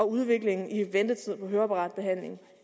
udviklingen i ventetid på høreapparatbehandling